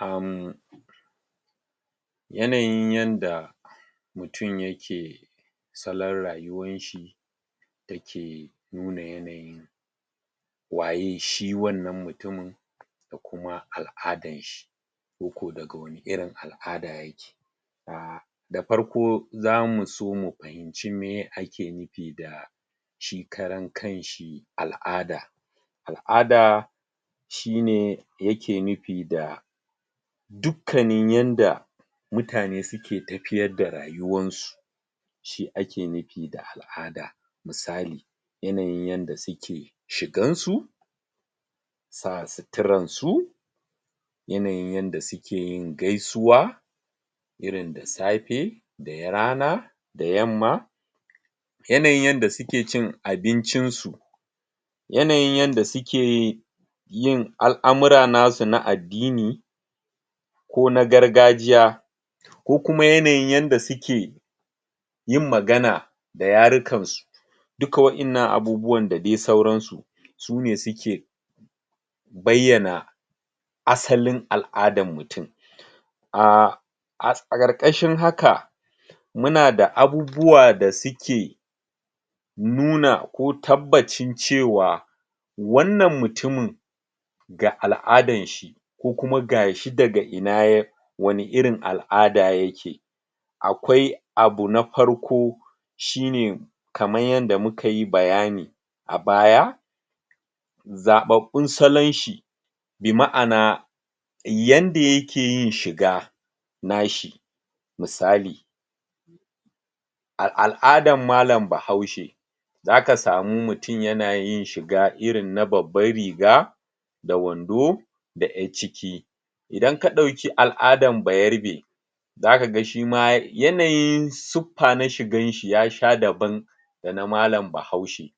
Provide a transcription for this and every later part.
[ummm] yanayin yanda mutun yake salon rayuwar shi dake nuna yanayin waye shi wannan mutumin da kuma al'adan shi. koko daga wani irin al'ada yake da farko zamuso mu fahim ci meye ake nufi da shi karan kanshi al'ada al'ada shine yake nufi da dukkanin yanda mutane suke tafiyar da rayuwarsu shi ake nufi da al'ada misali yanayin yanda suke shigan su sa suturan su yanayin yanda sukeyin gaisuwa irin da safe da rana, da yamma yanayin yanda suke cin abincin su yanayin yanda suke al'amura nasu na addini ko na gargajiya ko kuma yanayin yanda suke yin magana da yarukan su duka wa'innan abubuwan da dai sauran su sune suke baiyana asalin al'adan mutum. [aaah] a ƙarƙashin haka munada abubuwa da suke nuna ko tabbacin cewa wannan mutumin ga al'adan shi ko kuma gashi daga ina ya wani irin al'ada yake akwai abu na farko shine kaman yanda mukayi bayani a baya zaɓaɓɓun salon shi bi ma'ana yanda yakeyin shiga nashi misali a al'adan malan bahaushe zaka samu mutum yanayin shiga irin na babban riga da wando da ƴacciki. idan ka ɗauki al'adan bayarabe zaka ga shima yanayin suffa na shigan shi yasha daban dana malan bahaushe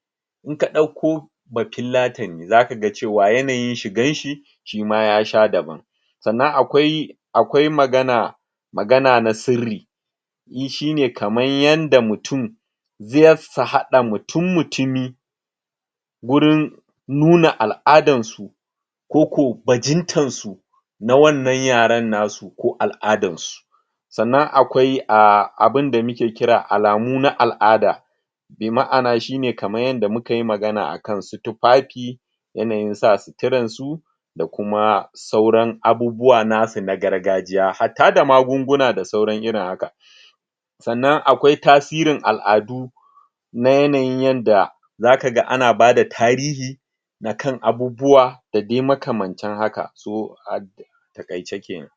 inka ɗauko bafillatani zaka cewa yanayin shigan shi shima yasha daban sanna akwai akwai magana magana na sirri shine kaman yanda mutun za su haɗa mutum mutumi gurin nuna al'adan su koko bajintan su na wannan yaran nasu ko al'adan su sannan akwai ahh abunda muke kira alamu na al'ada bi ma'ana shine kaman yadda mukayi magana akan su tufafi yanayin sa suturan su da kuma sauran abubuwa nasu na gargajiya hatta da magunguna da sauran irin haka sannan akwai tasirin al'adu na yanayin yanda zakaga ana bada tarihi na kan abubuwa da dai makamantan haka so a taƙaice kenan.